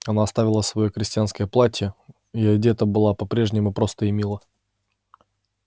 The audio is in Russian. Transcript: она оставила своё крестьянское платье и одета была по-прежнему просто и мило